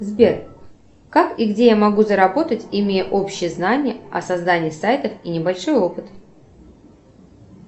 сбер как и где я могу заработать имея общие знания о создании сайтов и небольшой опыт